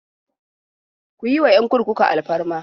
Ku yi wa 'yan kurkuku alfarma!